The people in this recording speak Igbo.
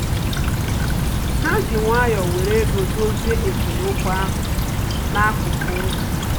Ha ji nwayọ were ego dozie esemokwu ahụ n'akụkụ ụzọ